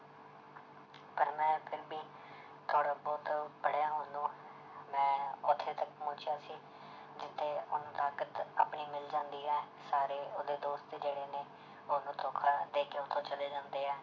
ਪਰ ਮੈਂ ਫਿਰ ਵੀ ਥੋੜ੍ਹਾ ਬਹੁਤ ਪੜ੍ਹਿਆ ਉਹਨੂੰ ਮੈਂ ਉੱਥੇ ਤੱਕ ਪਹੁੰਚਿਆ ਸੀ ਜਿੱਥੇ ਉਹਨੂੰ ਤਾਕਤ ਆਪਣੀ ਮਿਲ ਜਾਂਦੀ ਹੈ ਸਾਰੇ ਉਹਦੇ ਦੋਸਤ ਜਿਹੜੇ ਨੇ ਉਹਨੂੰ ਧੋਖਾ ਦੇ ਕੇ ਉੱਥੋਂ ਚਲੇ ਜਾਂਦੇ ਹੈ